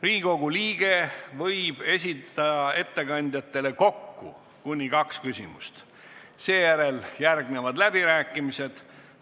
Riigikogu liige võib ettekandjatele esitada kokku kuni kaks küsimust, seejärel järgnevad läbirääkimised.